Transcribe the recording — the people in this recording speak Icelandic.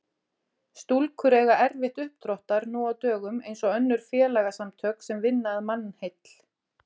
Stúkur eiga erfitt uppdráttar nú á dögum eins og önnur félagasamtök sem vinna að mannheill.